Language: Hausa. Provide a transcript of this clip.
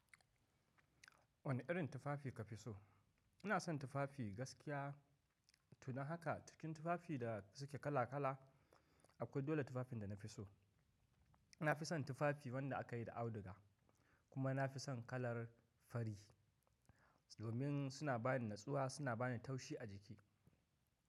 Wane irin tufafi ka fi so? Ina son tufafi gaskiya. Tuni haka cikin tufafi da suke kala kala akwai dole tufafin da na fi so. Na fi son tufafi wanda aka yi da auduga kuma na fi son kalar fari, domin suna bani natsuwa, suna bani taushi a jiki.